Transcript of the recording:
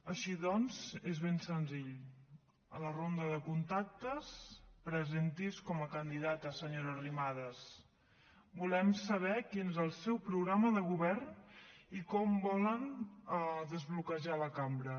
així doncs és ben senzill a la ronda de contactes presenti’s com a candidata senyora arrimadas volem saber quin és el seu programa de govern i com volen desbloquejar la cambra